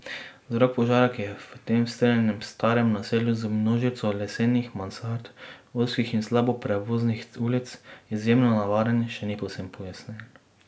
Vzrok požara, ki je v tem strnjenem starem naselju z množico lesenih mansard, ozkih in slabo prevoznih ulic, izjemno nevaren, še ni povsem pojasnjen.